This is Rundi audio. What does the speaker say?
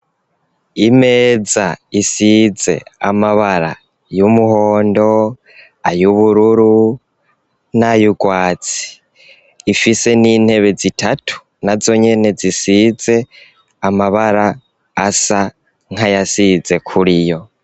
Imeza isize amabara y'umuhondo ,ay'ubururu nay'urwatsi, ifise n'intebe zitatu na zonyene zisize amabara asa nkayasize kuriyo.